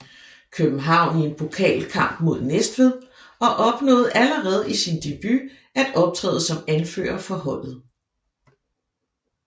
København i en pokalkamp mod Næstved og opnåede allerede i sin debut at optræde som anfører for holdet